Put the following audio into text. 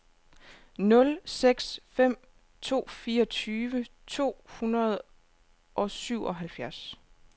nul seks fem to fireogtyve to hundrede og syvoghalvfjerds